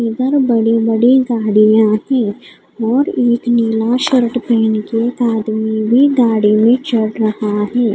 इधर बड़े बड़े गाड़ियाँ हैं और एक नीला शर्ट पहन के आदमी भी गाड़ी में चढ़ रहा है.